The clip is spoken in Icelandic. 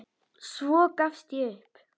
Svo gafst ég upp.